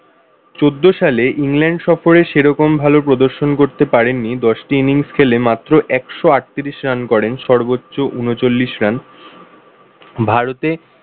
চোদ্দ সালে ইংল্যান্ড সফরে সেরকম ভালো প্রদর্শন করতে পারেননি দশটি innings খেলে মাত্র একশো আটত্রিশ run করেন সর্বোচ্চ উনচল্লিশ run ভারতে